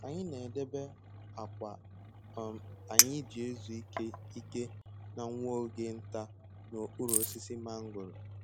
Anyị na-edebe akwa um anyị ji ezu ike ike na nwa oge nta n'okpuru osisi mangoro